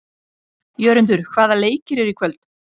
Jörundur, hvaða leikir eru í kvöld?